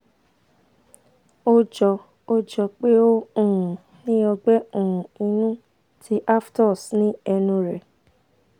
ó jọ ó jọ pé o um ní ọgbẹ́ um inú ti aphthous ni ẹnu rẹ